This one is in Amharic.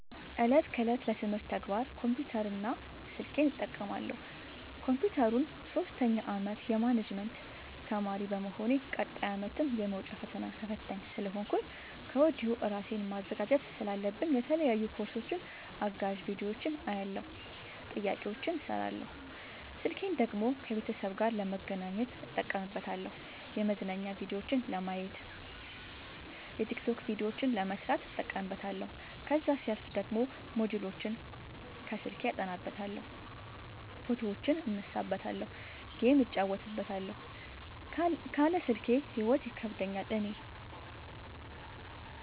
እለት ከእለት ለትምህርት ተግባር ኮምፒውተር እና ስልኬን እጠቀማለሁ። ኮንፒውተሩን ሶስተኛ አመት የማኔጅመት ተማሪ በመሆኔ ቀጣይ አመትም የመውጫ ፈተና ተፈታኝ ስለሆንኩኝ ከወዲሁ እራሴን ማዘጋጀት ስላለብኝ የተለያዩ ኮርሶችን አጋዝ ቢዲዮዎችን አያለሁ። ጥያቄዎችን እሰራለሁ። ስልኬን ደግሞ ከቤተሰብ ጋር ለመገናኘት እጠቀምበታለሁ የመዝናኛ ቭዲዮዎችን ለማየት። የቲክቶክ ቪዲዮዎችን ለመስራት እጠቀምበታለሁ። ከዛሲያልፍ ደግሞ ሞጅልዎችን አስልኬ አጠናበታለሁ። ፎቶዎችን እነሳበታለሀለ። ጌም እጫወትበታለሁ ካለ ስልኬ ሂይወት ይከብደኛል እኔ።